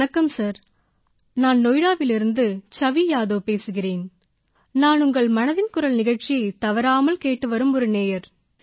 வணக்கம் சார் நான் நொய்டாவிலிருந்து சவி யாதவ் பேசுகிறேன் நான் உங்கள் மனதின் குரல் நிகழ்ச்சியைத் தவறாமல் கேட்டுவரும் ஒரு நேயர்